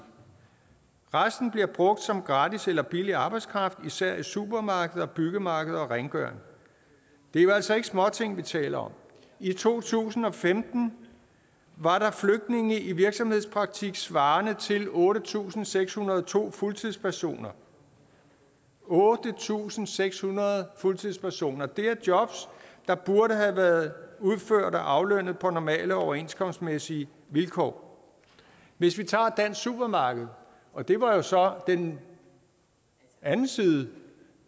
resten bliver brugt som gratis eller billig arbejdskraft især i supermarkeder byggemarkeder og rengøring det er jo altså ikke småting vi taler om i to tusind og femten var der flygtninge i virksomhedspraktik svarende til otte tusind seks hundrede og to fuldtidspersoner otte tusind seks hundrede og to fuldtidspersoner det er job der burde have været udført og aflønnet på normale overenskomstmæssige vilkår hvis vi tager dansk supermarked og det var jo så den anden side